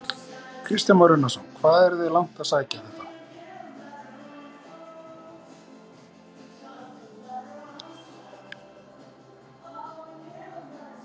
Kristján Már Unnarsson: Hvað eruð þið langt að sækja þetta?